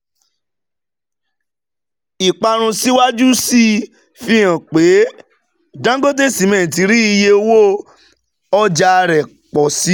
Ìparun síwájú sí i fi hàn pé Dangote Cement rí iye owo ọja rẹ pọ si